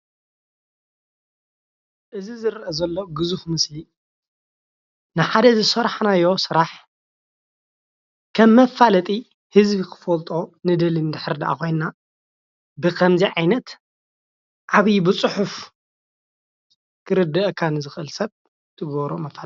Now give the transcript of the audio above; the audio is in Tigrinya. እዚ ዝረአ ዘሎ ግዙፍ ምስሊ ንሓደ ዝሰራሕናዮ ስራሕ ከም መፋለጢ ህዝቢ ክፈለጦ ንደሊ እንድሕር ዳኣ ኮይና ብከምዚ ዓይነት ዓብይ ብፅሑፍ ክርደአካ ንዝክእል ሰብ ክትገብሮ ኣለካ፡፡